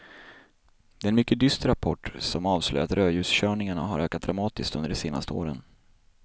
Det är en mycket dyster rapport som avslöjar att rödljuskörningarna har ökat dramatiskt under de senaste åren.